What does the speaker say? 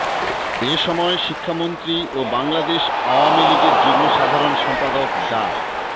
এ সময় শিক্ষামন্ত্রী ও বাংলাদেশ আওয়ামী লীগের যুগ্ম সাধারণ সম্পাদক ডা